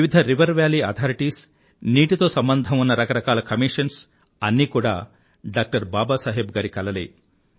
వివిధ river valley authorities నీ నీటితో సంబంధం ఉన్న రకరకాల కమీషన్స్ అన్నీ కూడా డాక్టర్ బాబా సాహెబ్ గారి కలలే